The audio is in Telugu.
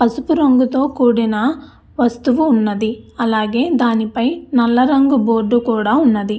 పసుపు రంగుతో కూడిన వస్తువు ఉన్నది అలాగే దానిపై నల్ల రంగు బోర్డు ఉన్నది.